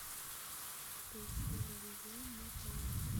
поищи иллюзион на тв